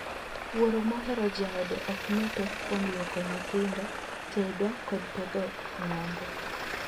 Wuoro mohero joode ok nee pek kuom luoko nyithindo, tedo, kod pedho ng'ango.